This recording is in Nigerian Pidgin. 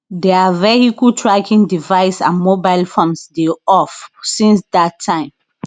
dia vehicle tracking device and mobile phones dey off since dat time